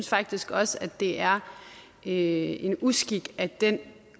faktisk også at det er en uskik at den